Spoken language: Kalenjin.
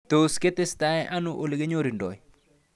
Tos ketestai ano ole kinyorundoi